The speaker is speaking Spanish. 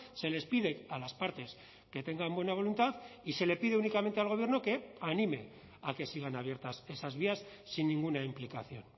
se les pide a las partes que tengan buena voluntad y se le pide únicamente al gobierno que anime a que sigan abiertas esas vías sin ninguna implicación